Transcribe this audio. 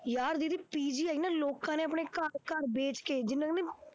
ਯਾਰ ਦੀਦੀ PGI ਨਾ ਲੋਕਾਂ ਨੇ ਆਪਣੇ ਘਰ ਘਰ ਵੇਚ ਕੇ ਜਿੰਨਾ ਵੀ